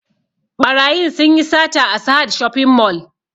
Ɓarayin sun yi sata a sahad shopping mall